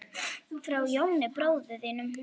Frá Jóni bróður þínum.